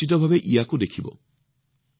আপোনালোকে নিশ্চিতভাৱে ইয়াক চাব